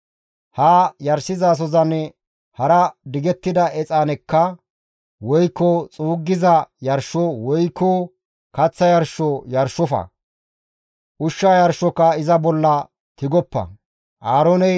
Ha yarshizasozan hara digettida exaanekka, woykko xuugettiza yarsho, woykko kaththa yarsho yarshofa; ushsha yarshoka iza bolla tigoppa. Qeeseta halaqay exaane cu7asizaso bolla exaane cu7asishin